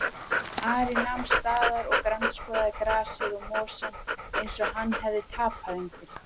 Ari nam staðar og grandskoðaði grasið og mosann eins og hann hefði tapað einhverju.